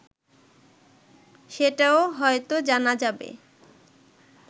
সেটাও হয়তো জানা যাবে